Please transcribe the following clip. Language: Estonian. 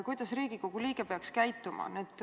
Kuidas Riigikogu liige peaks käituma?